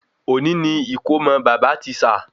Oni ni ikomo bàbá tisa